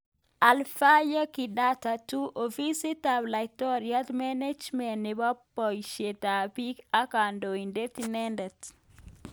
Alphayo Kidata 2.Ofisit ap Laitoriat, Menejment nepo poisiet ab piik ak Kandoinatet nrmhe